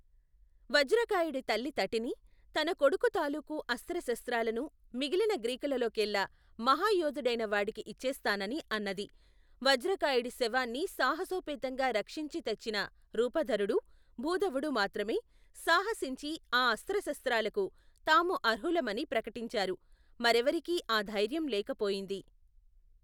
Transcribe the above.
వజ్రకాయుడి తల్లి తటిని, తన కొడుకు తాలూకు అస్త్రశస్త్రాలను మిగిలిన గ్రీకులలోకెల్లా మహయోధుడైన వాడికి ఇచ్చేస్తానని అన్నది. వజ్రకాయుడి శవాన్ని సాహసోపేతంగా రక్షించి తెచ్చిన రూపధరుడూ, భూధవుడూ మాత్రమే సాహసించి ఆ అస్త్రశస్త్రాలకు తాము అర్హులమని ప్రకటించారు. మరేవరికీ ఆ ధైర్యం లేకపోయింది.